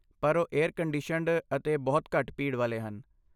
ਪਰ ਉਹ air conditioned ਅਤੇ ਬਹੁਤ ਘੱਟ ਭੀੜ ਵਾਲੇ ਹਨ।